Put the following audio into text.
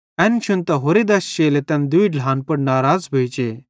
एन शुन्तां होरि दश चेलेईं तैन दूई ढ्लान पुड़ नराज़ भोइ जे